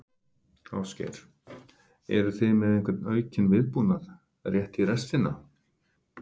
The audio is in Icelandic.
Ásgeir: Eruð þið með einhvern aukinn viðbúnað, rétt í restina?